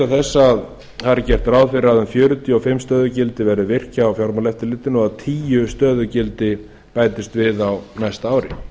þess að þar er gert ráð fyrir að um fjörutíu og fimm stöðugildi verði virt hjá fjármálaeftirlitinu og að tíu stöðugildi bætist við á næsta ári